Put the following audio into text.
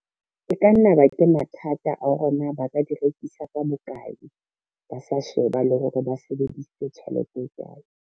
E ka nna ba ke mathata a hore na ba ka di rekisa ka bokae, ba sa sheba le hore ba sebedisitse tjhelete e kae.